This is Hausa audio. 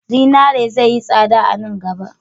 Zinare zai yi tsada a nan gaba.